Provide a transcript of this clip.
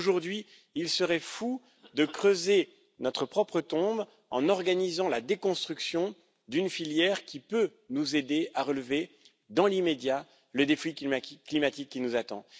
Mais aujourd'hui, il serait fou de creuser notre propre tombe en organisant la déconstruction d'une filière qui peut nous aider à relever, dans l'immédiat, le défi climatique qui nous attend.